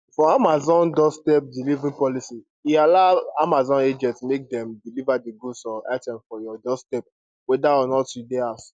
for amazon doorstep delivery policy e allow amazon agents make dem deliver di goods or item for your doorstep weda or not you dey house